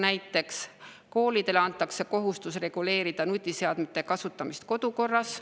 Näiteks, koolidele antakse kohustus reguleerida nutiseadmete kasutamist kodukorras.